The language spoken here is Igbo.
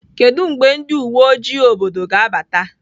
Kedu mgbe ndị uwe ojii obodo ga-abata?